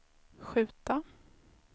skjuta